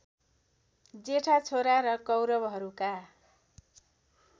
जेठा छोरा र कौरवहरूका